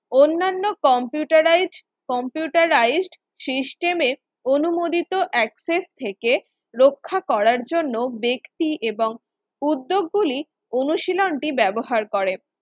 অন্যান্য computerized computerized system এর অনুমোদিত Access থেকে রক্ষা করার জন্য ব্যক্তি এবং উদ্যোগগুলি অনুশীলন টি ব্যবহার করে